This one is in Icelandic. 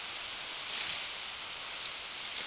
Virginía, opnaðu dagatalið mitt.